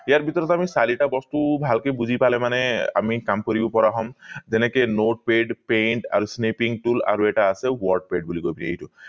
ইয়াৰ ভিতৰত আমি চাৰিটা বস্তু ভালকে বুজি পালে মানে আমি কাম কৰিব পৰা হম যেনেকে notepad paint আৰু tool এটা আছে word ped বুলি কয় এইটো